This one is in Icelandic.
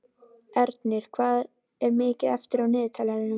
Ernir, hvað er mikið eftir af niðurteljaranum?